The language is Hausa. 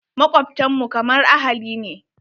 Makwabtan mu kamar ahali ne.